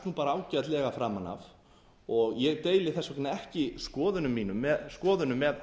það gafst ágætlega framan af og ég deili þess vegna ekki skoðunum mínum með